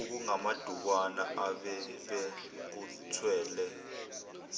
okungamadukwana abebekuthwele